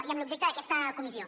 i en l’objecte d’aquesta comissió